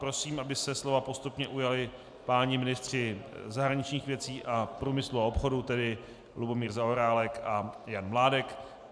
Prosím, aby se slova postupně ujali páni ministři zahraničních věcí a průmyslu a obchodu, tedy Lubomír Zaorálek a Jan Mládek.